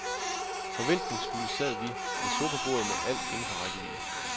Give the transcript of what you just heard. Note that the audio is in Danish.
Forventningsfulde sad vi ved sofabordet med alt inden for rækkevidde.